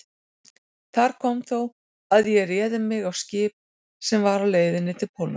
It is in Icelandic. Þar kom þó að ég réð mig á skip sem var á leið til Póllands.